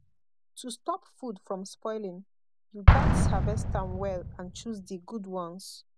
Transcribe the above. to stop food from spoiling you gats harvest am well and choose di good ones